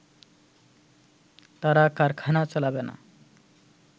তারা কারখানা চালাবে না